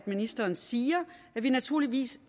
ministeren siger at vi naturligvis